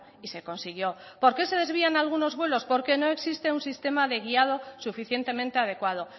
y se consiguió por qué se desvían algunos vuelos porque no existe un sistema de guiado suficientemente adecuado